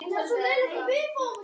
Syngja- læra lög- læra kvæði